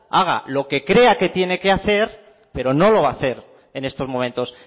haga lo que cree que tiene que hacer pero no lo va a hacer en estos momentos